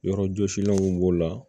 Yɔrɔjɔsilanw b'o la